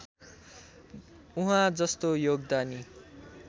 उहाँ जस्तो योगदानी